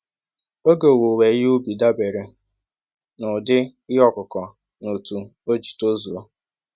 Oge owuwe ihe ubi dabere na ụdị ihe ọkụkụ na otu oji tozuo.